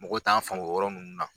Mɔgɔw t'an faamu ɔ yɔrɔ nunnu na.